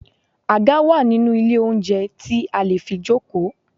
Àga wà nínú ilé oúnjẹ tí a lè fi jókòó.